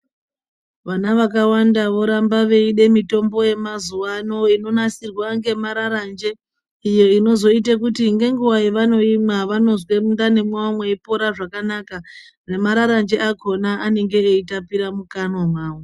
Vana vakawanda voramba veide mitombo yamazuva ano inonasirwa ngemararanje. Iyo inozoite kuti ngenguva yavanoimwa vanozwe mundani mwavo mweipora zvakanaka. Nemararanji akona anenge eitapira mukanwa mavo.